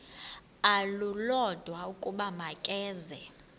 olulodwa ukuba makeze